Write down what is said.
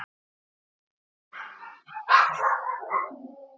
Það kom fyrir að hún komst ekki í skólann því pabbi vildi vera með henni.